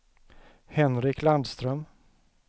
Henrik Landström